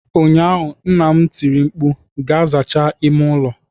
ụnyaahụ, nna m tiri mkpu, "Gaa zachaa ime ụlọ !"